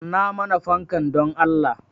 Kunna mana fanka dan Allah